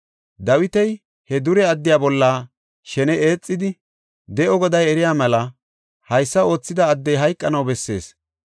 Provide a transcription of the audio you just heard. Dawiti he dure addiya bolla shene eexidi, “De7o Goday eriya mela, haysa oothida addey hayqanaw bessees.